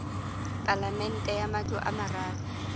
palamente ya matlo a mararo